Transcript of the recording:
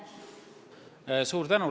Suur tänu!